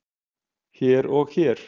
hér og hér